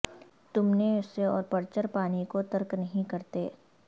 تم نے اسے اور پرچر پانی کو ترک نہیں کرتے